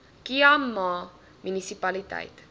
khai ma munisipaliteit